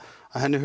að henni